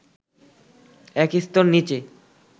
এক স্তর নিচে